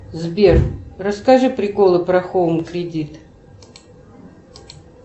сбер расскажи приколы про хоум кредит